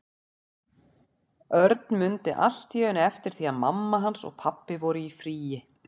Örn mundi allt í einu eftir því að mamma hans og pabbi voru í fríi.